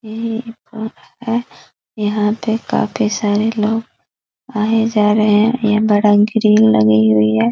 यहाँ पे काफी सारे लोग आए जा रहे ये बड़ा ग्रिल लगी हुई है।